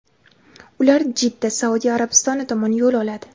ular Jidda (Saudiya Arabistoni) tomon yo‘l oladi.